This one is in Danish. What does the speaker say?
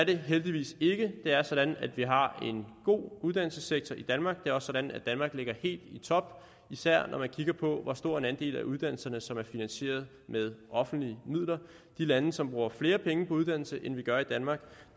det heldigvis ikke det er sådan at vi har en god uddannelsessektor i danmark og er sådan at danmark ligger helt i top især når man kigger på hvor stor en andel af uddannelserne som er finansieret med offentlige midler de lande som bruger flere penge på uddannelse end vi gør i danmark